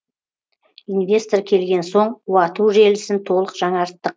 инвестор келген соң уату желісін толық жаңарттық